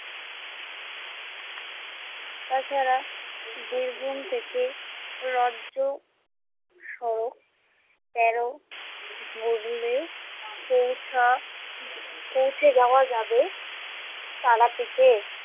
তাছাড়া বীরভূম থেকে রাজ্য সড়ক তেরো ধরলেও পৌঁছা পৌঁছে যাওয়া যাবে তারাপীঠে।